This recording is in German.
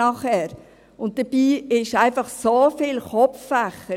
Dabei hat es so viele kopflastige Fächer!